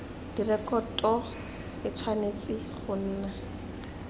direkoto e tshwanetse go nna